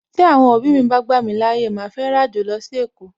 Tí Àwọn òbí mi bá gbà mí láyè, màá fẹ́ ràjò lọ sí èkó